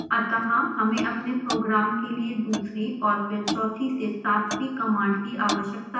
अतः हमें अपने प्रोग्राम के लिए दूसरी और फिर चौथी से सातवीं कमांड की आवश्यकता है